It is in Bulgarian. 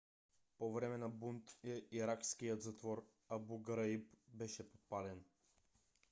по време на бунт иракският затвор абу граиб беше подпален